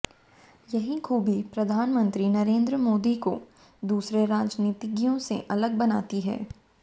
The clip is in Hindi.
यही खूबी प्रधानमंत्री नरेन्द्र मोदी को दूसरे राजनीतिज्ञों से अलग बनाती है